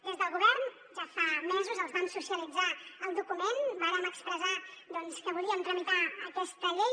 des del govern ja fa mesos els vam socialitzar el document vàrem expressar doncs que volíem tramitar aquesta llei